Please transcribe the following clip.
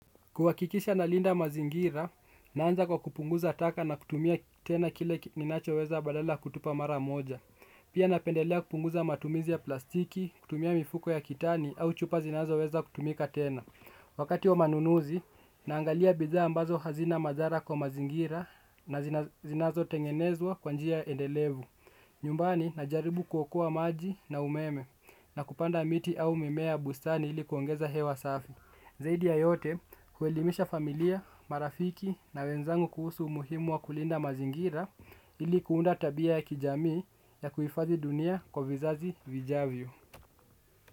Kuhakikisha ninalinda mazingira, naanza kwa kupunguza taka na kutumia tena kile ninacho weza badala kutupa mara moja. Pia napendelea kupunguza matumizi ya plastiki, kutumia mifuko ya kitani au chupa zinazo weza kutumika tena. Wakati wa manunuzi, naangalia bidhaa ambazo hazina madhara kwa mazingira na zinazo tengenezwa kwa njia endelevu. Nyumbani, najaribu kuokoa maji na umeme na kupanda miti au mimea bustani ili kuongeza hewa safi. Zaidi ya yote kuwelimisha familia, marafiki na wenzangu kuhusu umuhimu wa kulinda mazingira ili kuunda tabia ya kijamii ya kuhifadhi dunia kwa vizazi vijavyo.